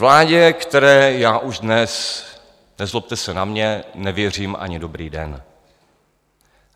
Vládě, které já už dnes - nezlobte se na mě - nevěřím ani "dobrý den".